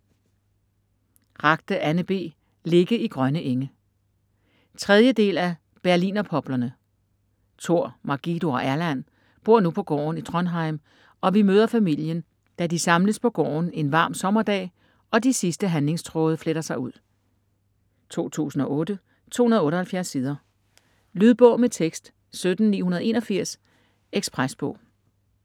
Ragde, Anne B.: Ligge i grønne enge 3. del af: Berlinerpoplerne. Tor, Margido og Erland bor nu på gården i Trondheim, og vi møder familien, da de samles på gården en varm sommerdag, og de sidste handlingstråde fletter sig ud. 2008, 278 sider. Lydbog med tekst 17981 Ekspresbog